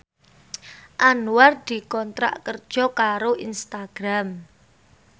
Anwar dikontrak kerja karo Instagram